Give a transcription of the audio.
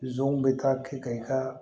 Zonw bɛ taa kɛ ka i ka